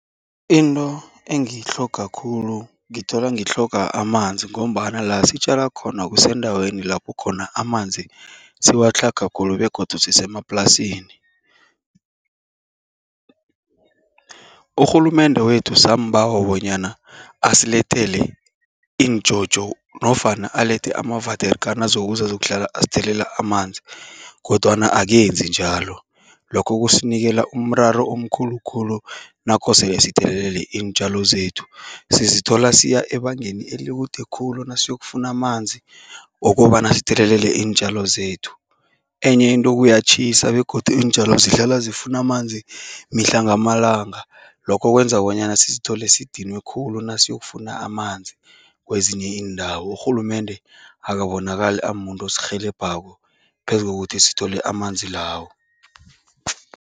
Into engiyitlhoga khulu, ngithola ngitlhoga amanzi ngombana la sitjala khona kusendaweni lapho khona amanzi siwatlhaga khulu begodu sisemaplasini. Urhulumende wethu sambawa bonyana asilethele injojo nofana alethe ama-water kan azokuza azokuhlala asithelela amanzi kodwana akenzi njalo. Lokho kusinikela umraro omkhulu khulu nakosele sithelelele iintjalo zethu. Sizithola siya ebangeni elikude khulu nasiyokufuna amanzi wokobana sithelelele iintjalo zethu. Enye into kuyatjhisa begodu iintjalo zihlala zifuna amanzi mihla ngamalanga, lokho kwenza bonyana sizithole sidinwe khulu nasiyokufuna amanzi kwezinye iindawo. Urhulumende akabonakali amumuntu osirhelebhako phezu kokuthi sithole amanzi lawo.